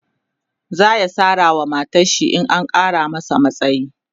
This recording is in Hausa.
zaya Sara wa matarshi in an Kara masa matsayi